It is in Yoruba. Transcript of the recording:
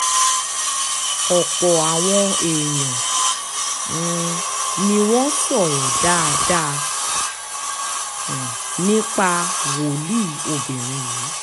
ọ̀pọ̀ àwọn èèyàn um ni wọ́n sọ̀rọ̀ dáadáa um nípa wòlíì obìnrin yìí